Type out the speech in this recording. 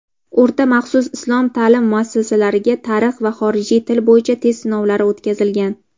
o‘rta maxsus islom ta’lim muassasalariga "Tarix" va "Xorijiy til" bo‘yicha test sinovlari o‘tkazilgan.